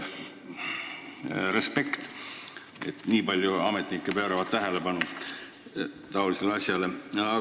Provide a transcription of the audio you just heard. Respekt, et nii palju ametnikke pöörab tähelepanu taolisele asjale!